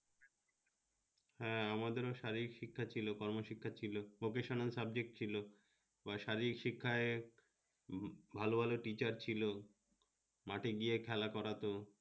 হ্যাঁ আমাদের ও শারীরিক-শিক্ষা ছিল গন-শিক্ষার ছিল vocational subject ছিল, তোমার শারীরিক-শিক্ষায় ভালো ভালো techer ছিল মাঠে গিয়ে খেলা করাতো